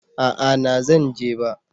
A'a na zan je ba